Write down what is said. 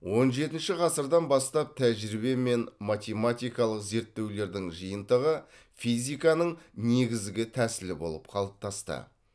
он жетінші ғасырдан бастап тәжірибе мен математикалық зерттеулердің жиынтығы физиканың негізгі тәсілі болып қалыптасты